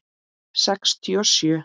Sextíu og sjö.